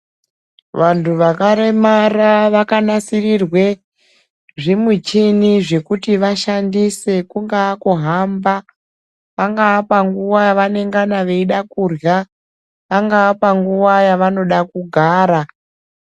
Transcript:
Vantu vakaremara vakanasirirwe zvimuchini zvekuti vashandise kungaa kuhamba pangaa yavanengana veida kurya, pangaa panguva yavanoda kugara.